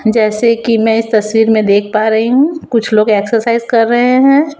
जैसे कि मैं इस तस्वीर में देख पा रही हूं कुछ लोग एक्सरसाइज कर रहे हैं।